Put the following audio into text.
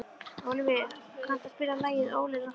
Ólíver, kanntu að spila lagið „Óli rokkari“?